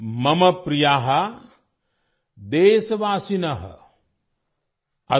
मम प्रिया देशवासिन